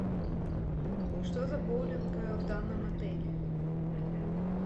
что за боулинг в данном отеле